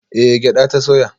Eh gyada ta soya